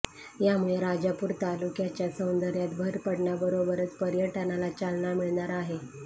यामुळे राजापूर तालक्याच्या सौंदर्यात भर पडण्याबरोबरच पर्यटनाला चालना मिळणार आहे